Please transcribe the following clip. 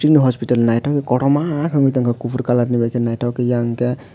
hospital naithok kotorma ungui tongkha kuphur colour ni bai naithok yang khe.